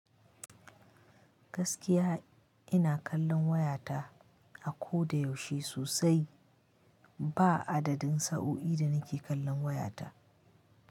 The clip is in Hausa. Gaskiya ina kallon wayata a ko da yaushe sosai. Ba adadin sa'o'i da nake kallon wayata.